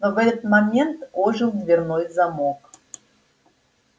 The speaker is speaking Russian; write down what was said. но в этот момент ожил дверной звонок